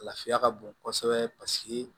Lafiya ka bon kosɛbɛ paseke